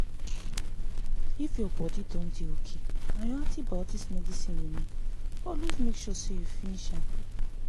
if ur body don dey okay and ur antibiotics medicine remain always make sure u finsh m.